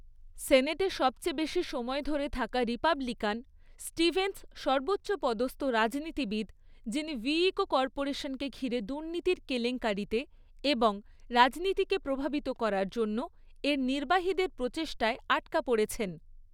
সেনেটে সবচেয়ে বেশি সময় ধরে থাকা রিপাবলিকান, স্টিভেনস সর্বোচ্চ পদস্থ রাজনীতিবিদ যিনি ভিইকো কর্পোরেশনকে ঘিরে দুর্নীতির কেলেঙ্কারিতে এবং রাজনীতিকে প্রভাবিত করার জন্য এর নির্বাহীদের প্রচেষ্টায় আটকা পড়েছেন।